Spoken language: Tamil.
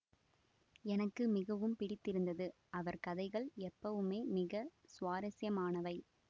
எனக்கு மிகவும் பிடித்திருந்தது அவர் கதைகள் எப்பவுமே மிக சுவாரஸ்யமானவை